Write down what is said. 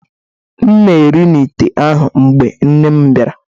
M na-eri n’ite ahụ, mgbe nne m bịara